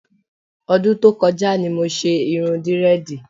Ọdún tó kọjá ni mo ṣe irun dírẹ́ẹ̀dì.